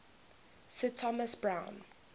sir thomas browne